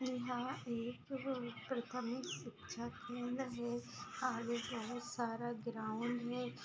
यहाँ एक प्राथमिक शिक्षा केंद्र है आगे जो है सारा ग्राउंड है।